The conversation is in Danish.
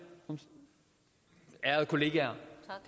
ærede kollegaer